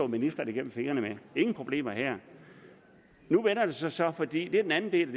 ministeren igennem fingre med ingen problemer her nu vender det så så og det er den anden del af